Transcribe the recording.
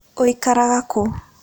Ũikaraga kũ?